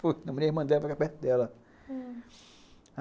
Pô, namorei a irmã dela para ficar perto dela, hum.